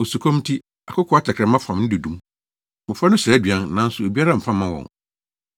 Osukɔm nti, akokoaa tɛkrɛma fam ne dodo mu; mmofra no srɛ aduan, nanso obiara mfa mma wɔn.